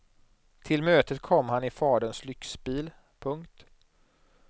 Till mötet kom han i faderns lyxbil. punkt